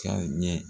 Ka ɲɛ